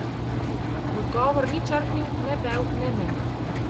V odgovor ni črhnil ne bev ne mev.